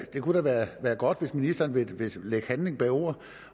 kunne da være godt hvis ministeren ville lægge handling bag ord